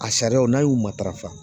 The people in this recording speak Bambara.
A sariyaw n'a y'u matarafa